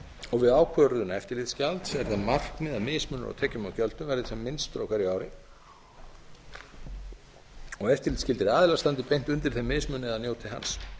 og við ákvörðun eftirlitsgjald er það markmið að mismunur á tekjum og gjöldum verði hvað minnstur á hverju ári og eftirlitsskyldir aðilar standi beint undir þeim mismun eða njóti hans